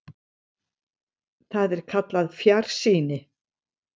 Þetta er kallað fjarsýni.